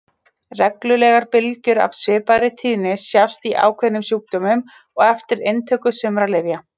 Reglulegar bylgjur af svipaðri tíðni sjást í ákveðnum sjúkdómum og eftir inntöku sumra lyfja.